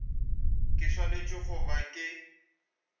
ke swanetše go ba ke